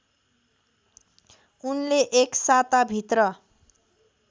उनले एक साताभित्र